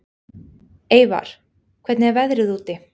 Eyvar, hvernig er veðrið úti?